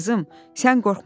Qızım, sən qorxma.